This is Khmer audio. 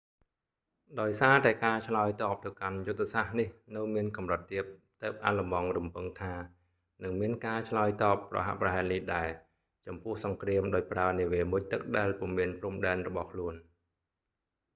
ដោយសារតែការឆ្លើយតបទៅកាន់យុទ្ធសាស្ត្រនេះនៅមានកម្រិតទាប ទើបអាល្លឺម៉ង់រំពឹងថា នឹងមានការឆ្លើយតបប្រហាក់ប្រហែលនេះដែរ ចំពោះសង្គ្រាមដោយប្រើនាវាមុជទឹកដែលពុំមានព្រំដែនរបស់ខ្លួន